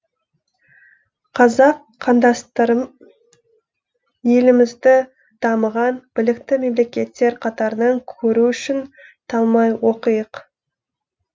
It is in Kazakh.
қазақ қандастарым елімізді дамыған білікті мемлекеттер қатарынан көру үшін талмай оқиық